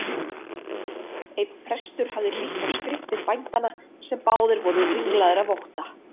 Einar prestur hafði hlýtt á skriftir bændanna sem báðir voru ringlaðir af ótta.